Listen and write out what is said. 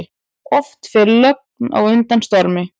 Oft fer logn á undan stormi.